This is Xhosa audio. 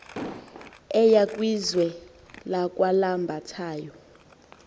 eya kwizwe lakwalambathayo